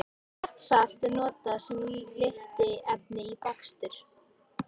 Hjartarsalt er notað sem lyftiefni í bakstur.